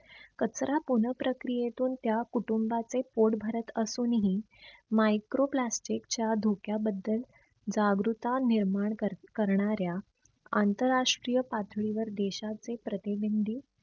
कचरा पुनः प्रक्रियेतून त्या कुटुंबाचे पोट भरत असूनही micro plastic च्या धोक्या बद्दल जागृता निर्माण कर करणाऱ्या आंतर राष्ट्रीय पातळीवर देशाचे प्रतिनिंधी